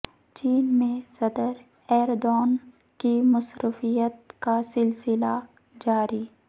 چین میں صدر ایردوان کی مصروفیات کا سلسلہ جاری